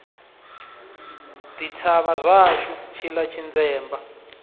ḓi thavha zwashu tshiḽa tshinzemba